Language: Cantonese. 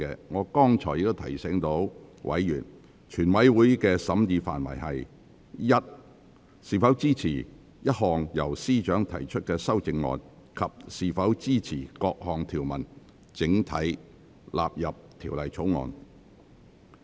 我剛才已提醒委員，全體委員會的審議範圍應是：一是否支持一項由司長提出的修正案；及二是否支持各項條文整體納入《條例草案》。